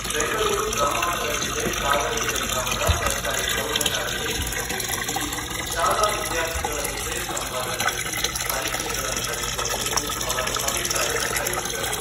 ಬೆಂಗಳೂರು ಗ್ರಾಮಾಂತರ ಜಿಲ್ಲೆ ತಾವರೆಕೆರೆ ಗ್ರಾಮದ ಸರ್ಕಾರಿ ಪ್ರೌಢಶಾಲೆಗೆ ನಿನ್ನೆ ಭೇಟಿ ನೀಡಿ, ಶಾಲಾ ವಿದ್ಯಾರ್ಥಿಗಳ ಜೊತೆ ಸಂವಾದ ನಡೆಸಿ, ಪರೀಕ್ಷೆಗಳನ್ನು ನಡೆಸುವ ಕುರಿತು ಅವರು ಅಭಿಪ್ರಾಯ ಸಂಗ್ರಹಿಸಿದರು.